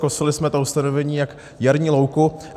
Kosili jsme ta ustanovení jak jarní louku.